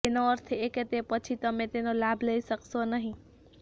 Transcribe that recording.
તેનો અર્થ એ કે તે પછી તમે તેનો લાભ લઈ શકશો નહીં